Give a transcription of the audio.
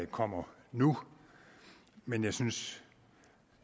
kommer nu men jeg synes